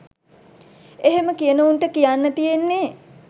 එහෙම කියන උන්ට කියන්න තියෙන්නෙ